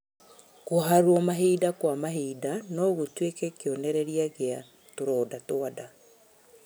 Kũharwo mahinda kwa mahinda nogũtuĩke kĩonereria gĩa tũronda twa nda